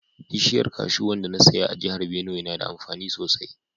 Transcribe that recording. Bishiyar kashu wanda na saya a jihar Benue na da amfani sosai